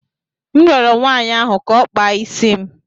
M rịọrọ nwaanyị ahụ ka ọ kpaa isi m.